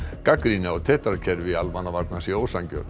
gagnrýni á tetra kerfi almannavarna sé ósanngjörn